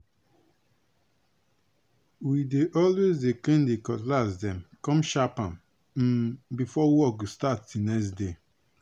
we dey always dey clean di cutlass dem come sharp am um before work go start di next day.